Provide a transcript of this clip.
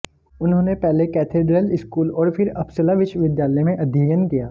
उन्होने पहले cathedral school और फिर अपसला विश्वविद्यालय में अध्ययन किया